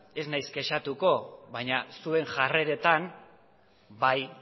ez naiz kexatuko baina zuen jarreretan bai